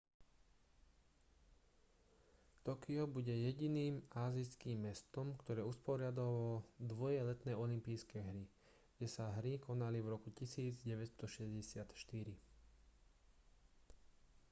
tokio bude jediným ázijským mestom ktoré usporiadalo dvoje letné olympijské hry kde sa hry konali v roku 1964